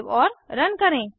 save और run करें